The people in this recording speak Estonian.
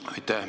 Aitäh!